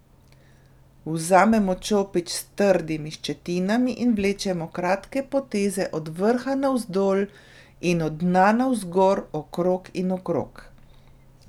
Vzamemo čopič s trdimi ščetinami in vlečemo kratke poteze od vrha navzdol in od dna navzgor okrog in okrog.